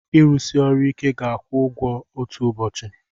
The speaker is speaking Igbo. Ịrụsi ọrụ ike ga-akwụ ụgwọ otu ụbọchị.